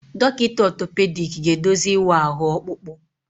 Dọkịta otopediki ga-eduzi ịwa ahụ ọkpụkpụ.